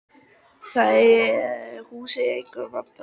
Það hús er einnig mjög vandað.